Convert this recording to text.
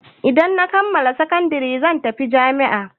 Idan na kammala sakandare zan tafi jami'a.